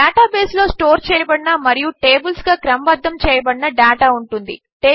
డేటాబేసులో store చేయబడిన మరియు టేబిల్స్గా క్రమబద్దము చేయబడిన డేటా ఉంటుంది